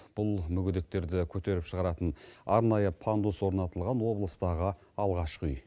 бұл мүгедектерді көтеріп шығаратын арнайы пандус орнатылған облыстағы алғашқы үй